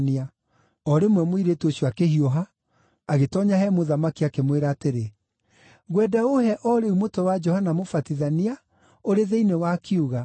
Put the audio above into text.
O rĩmwe mũirĩtu ũcio akĩhiũha, agĩtoonya he mũthamaki, akĩmwĩra atĩrĩ, “Ngwenda ũũhe o rĩu mũtwe wa Johana Mũbatithania ũrĩ thĩinĩ wa kiuga.”